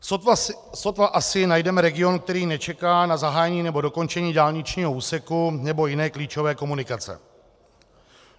Sotva asi najdeme region, který nečeká na zahájení nebo dokončení dálničního úseku nebo jiné klíčové komunikace.